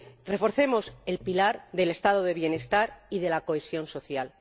Reforcemos el pilar del Estado de bienestar y de la cohesión social.